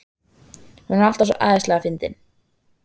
Hún er alltaf svo æðislega fyndin.